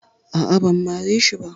Aa, ban mare shi ba